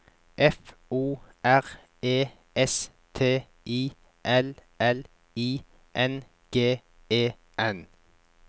F O R E S T I L L I N G E N